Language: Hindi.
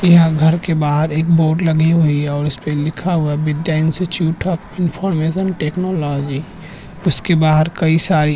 यहाँ पर घर के बाहर एक बोर्ड लगी हुई है जिसमें लिखा हुआ है विद्या इंस्टिट्यूट ऑफ़ टेक्नोलॉजी उसके बाहर कई सारी --